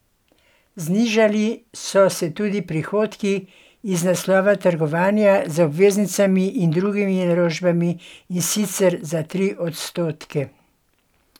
Znižali so se tudi prihodki iz naslova trgovanja z obveznicami in drugimi naložbami, in sicer za tri odstotke.